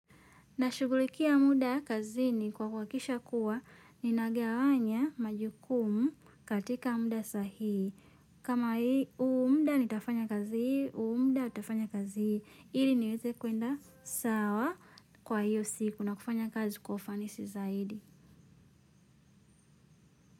Na shughulikia muda kazini kwa kuhakikisha kuwa ninagawanya majukumu katika muda sahihi. Kama hii huu muda nitafanya kazi hii, huu muda tafanya kazi hii ili niweze kwenda sawa kwa hiyo siku na kufanya kazi kwa ufanisi zaidi.